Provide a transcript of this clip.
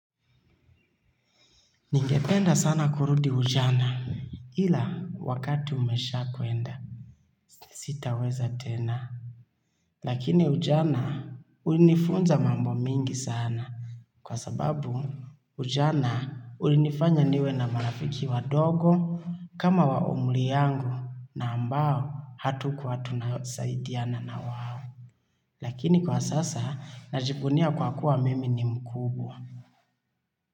Ningependa sana kurudi ujana, ila wakati umesha kwenda. Sitaweza tena, lakini ujana hunifunza mambo mengi sana kwa sababu ujana ulinifanya niwe na marafiki wadogo kama wa umri yangu na ambao hatukua tunasaidiana na wao. Lakini kwa sasa najivunia kwa kuwa mimi ni mkubwa.